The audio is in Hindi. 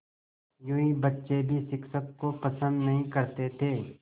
यूँ बच्चे भी शिक्षक को पसंद नहीं करते थे